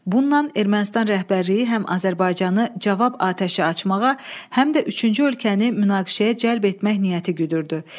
Bununla Ermənistan rəhbərliyi həm Azərbaycanı cavab atəşi açmağa, həm də üçüncü ölkəni münaqişəyə cəlb etmək niyyəti güdürdü.